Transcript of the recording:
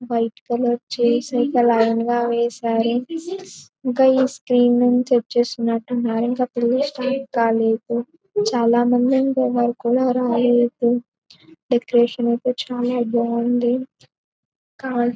White colour chairs line గా వేశారు. ఇంకా ఈ స్క్రీన్ నుంచి వచ్చేసినట్టున్నారు. ఇంకా పిల్లలు స్టార్ట్ కాలేదు. చాలా మంది ఇంట్లో వారు కూడా రాలేదు. డెకరేషన్ ఐతే చాలా బాగుంది. ]